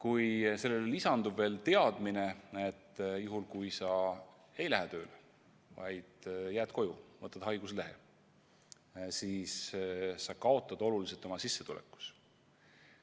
Ja sellele lisandub veel teadmine, et kui sa tööle ei lähe, vaid jääd koju ja võtad haiguslehe, siis sa kaotad oluliselt oma sissetulekus.